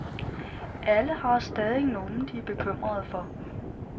Alle har stadig nogen, de er bekymrede for.